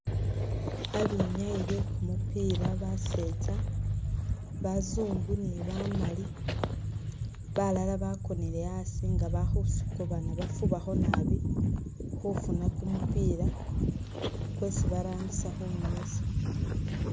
Ba binyayi be kumupila basetsa, bazungu ni bamali, balala bakonele asi nga ba khusukubana bafubakho nabi khufuna ku mupila kwesi barambisa khu nywesa.